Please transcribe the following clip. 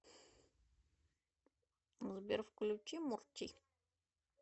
сбер включи мурчи